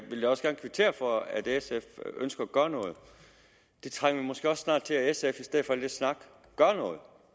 vil også gerne kvittere for at sf ønsker at gøre noget det trænger vi måske også snart til at sf gør i stedet for al den snak